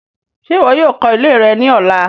Ṣe iwọ yoo kọ ile rẹ ni ọla